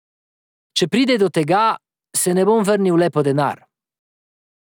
Če pride do tega, se ne bom vrnil le po denar.